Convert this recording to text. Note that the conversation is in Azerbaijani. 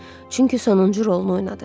Çünki sonuncu rolunu oynadı.